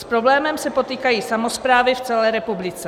S problémem se potýkají samosprávy v celé republice.